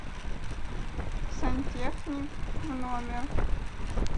сантехник в номер